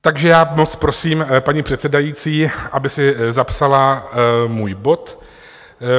Takže já moc prosím paní předsedající, aby si zapsala můj bod.